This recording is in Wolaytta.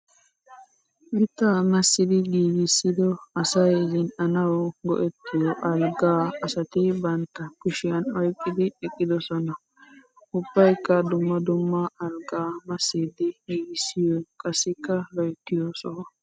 Mitta massiddi giiggissiddo asay zina'anawu go'ettiyo algga asatti bantta kushiyan oyqqiddi eqqidosonna. Ubbakka dumma dumma algga massiddi giiggissiyo qassikka loyttiyo soho.